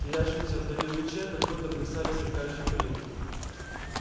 в терявшемся вдали луче как будто плясали сверкающие пылинки